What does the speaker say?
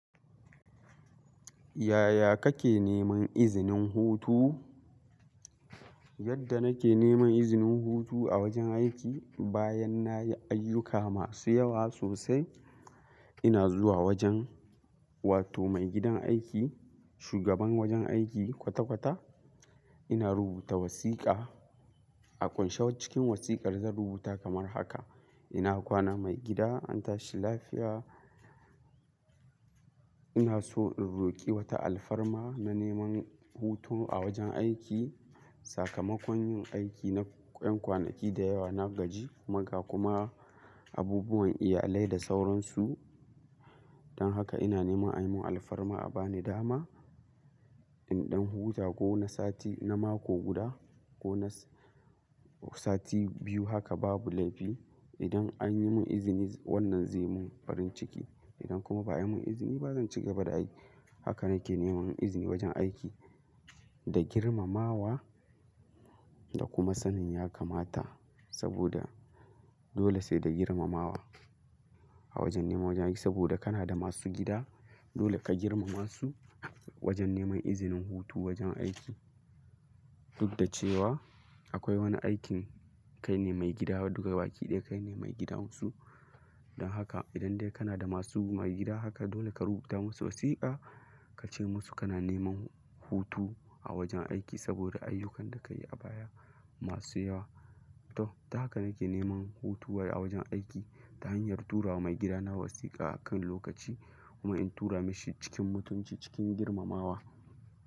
Yaya kake neman izinin hutu? Yadda nake neman izinin hutu a wajen aiki bayan nayi ayyuka masu yawa sosai, ina zuwa wajen wato maigidan aiki, shugaban wajen aiki kwata-kwata ina rubuta wasiƙa. A kunshe cikin wasiƙar zan rubuta kamar haka, ina kwana maigida? An tashi lafiya. Ina so in roƙi wata alfarma na neman hutu a wajen aiki. Sakamakon yin aiki na 'yan kwanaki da yawa na gaji, magaa kuma abubuwan iyalai da sauransu. Don haka ina neman a yi mun alfarma a bani dama in ɗan huta ko na sati na mako guda ko na sati biyu haka babu laifi. Idan an yi mun izini wannan zai mun farin ciki. Idan kuma ba a yi mun izini ba zan cigaba da aiki. Haka nake neman izini wajen aiki da girmamawa da kuma sanin ya kamata saboda dole sai da girmamawa a wajen neman wajen aiki saboda kana da masu gida. Dole ka girmama su wajen neman izinin hutu wajen aiki. Duk da cewa akwai wani aikin kai ne maigida daga baki ɗaya kai ne maigidansu. Don haka idan dai kana da masu maigida haka dole ka rubuta masu wasiƙa ka ce musu kana neman hutu a wajen aiki saboda ayyukan da ka yi a baya masu yawa. To, ta haka nake neman hutuwa a wajen aiki ta hanyar tura mai gidana wasiƙa a kan lokaci kuma in tura mashi cikin mutunci cikin girmamawa.